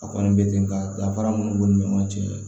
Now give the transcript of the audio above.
A kɔni bɛ ten nka danfara mun b'u ni ɲɔgɔn cɛ